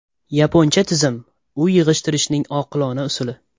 Yaponcha tizim: uy yig‘ishtirishning oqilona usuli.